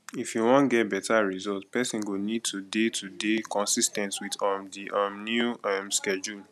if you wan get better result person go need to dey to dey consis ten t with um di um new um schedule